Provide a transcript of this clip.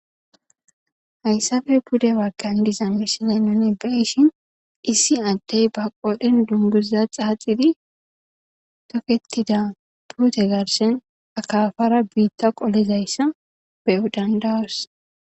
Hayssafe bude waggan diza mishile noni beyishin issi addey ba qodhen dunduza xaaxidi toketida puute garshen akafara biitta qolizayssa bedandawus